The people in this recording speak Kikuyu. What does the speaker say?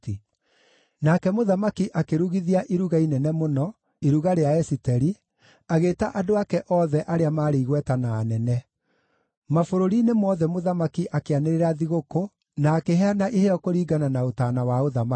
Nake mũthamaki akĩrugithia iruga inene mũno, iruga rĩa Esiteri, agĩĩta andũ ake othe arĩa maarĩ igweta na anene. Mabũrũri-inĩ mothe mũthamaki akĩanĩrĩra thigũkũ na akĩheana iheo kũringana na ũtaana wa ũthamaki.